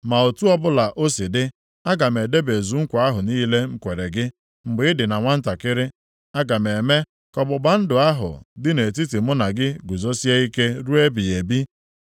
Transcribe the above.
Ma otu ọbụla o si dị, aga m edebezu nkwa ahụ niile m kwere gị mgbe ị dị na nwantakịrị. Aga m eme ka ọgbụgba ndụ ahụ dị nʼetiti mụ na gị guzosie ike ruo ebighị ebi.